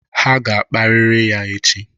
Ha ga-akparịrị ya echi